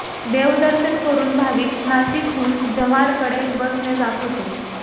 देवदर्शन करून भाविक नाशिकहून जव्हारकडे बसने जात होते